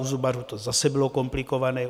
U zubařů to zase bylo komplikované.